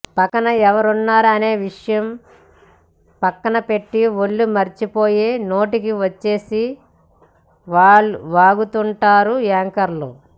పక్కన ఎవరున్నారు అనే విషయం పక్కన పెట్టి ఒళ్లు మరిచిపోయే నోటికి వచ్చేసింది వాగుతుంటారు యాంకర్లు